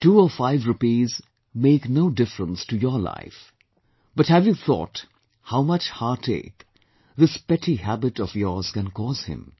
Two or five rupees make no difference to your life, but have you thought how much heartache this petty habit of yours can cause him